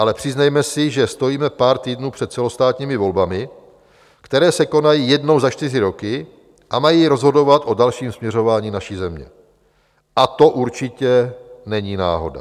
Ale přiznejme si, že stojíme pár týdnů před celostátními volbami, které se konají jednou za čtyři roky a mají rozhodovat o dalším směřování naší země, a to určitě není náhoda.